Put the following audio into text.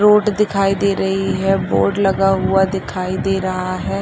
Road दिखाई दे रही है बोर्ड लगा हुआ दिखाई दे रहा है।